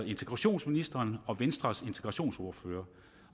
integrationsministeren og venstres integrationsordfører